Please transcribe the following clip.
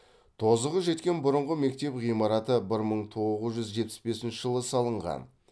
тозығы жеткен бұрынғы мектеп ғимараты бір мың тоғыз жүз жетпіс бесінші жылы салынған